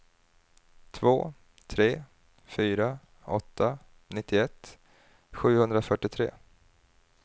två tre fyra åtta nittioett sjuhundrafyrtiotre